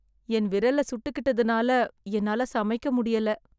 என் விறல்ல சுட்டுக்கிட்டதுனால என்னால சமைக்க முடியல்ல